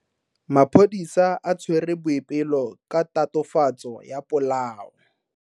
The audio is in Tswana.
Maphodisa a tshwere Boipelo ka tatofatso ya polao.